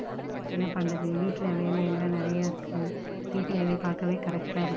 என்ன பண்றது வீட்ல வேலை எல்லாம் நிறைய இருக்குது. வீட்டு வேல பாக்கவே correct டா இருக்கு.